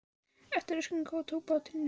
Eftir röskan róður tók bátinn niðri í Viðey.